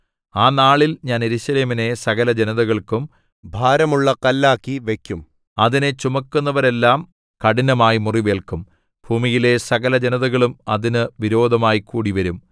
ആ നാളിൽ ഞാൻ യെരൂശലേമിനെ സകലജനതകൾക്കും ഭാരമുള്ള കല്ലാക്കി വയ്ക്കും അതിനെ ചുമക്കുന്നവരെല്ലാം കഠിനമായി മുറിവേല്ക്കും ഭൂമിയിലെ സകലജനതകളും അതിന് വിരോധമായി കൂടിവരും